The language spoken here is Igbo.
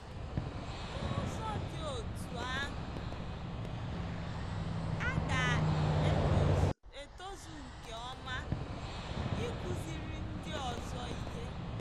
N’ụzọ dị otú ahụ, ha ga-etozu nke ọma ịkụziri ndị ọzọ ihe. ”